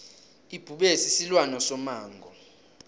ibhubezi silwane somango